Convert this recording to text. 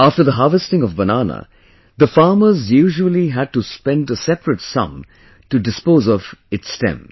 After the harvesting of banana, the farmers usually had to spend a separate sum to dispose of its stem